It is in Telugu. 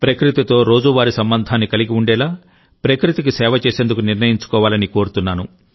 ప్రకృతితో రోజువారీ సంబంధాన్ని కలిగి ఉండేలా ప్రకృతికి సేవ చేసేందుకు నిర్ణయించుకోవాలని కోరుతున్నాను